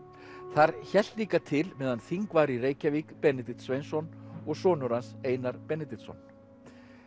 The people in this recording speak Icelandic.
þar hélt líka til meðan þing var í Reykjavík Benedikt Sveinsson og sonur hans Einar Benediktsson